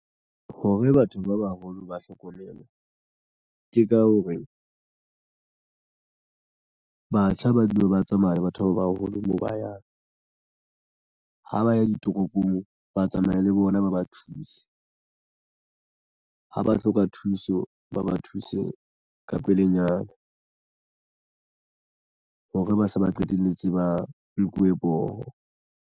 Hore batho ba baholo ba hlokomelwa ke ka hore batjha ba dule ba tsamaya le batho ba baholo moo ba yang ha ba ya ditoropong ba a tsamaye le bona ba ba thuse ha ba hloka thuso ba ba thuse ka pelenyana hore ba se ba qetelletse ba nkuwe poho.